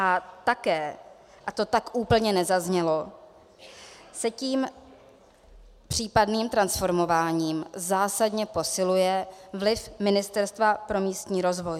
A také, a to tak úplně nezaznělo, se tím případným transformováním zásadně posiluje vliv Ministerstva pro místní rozvoj.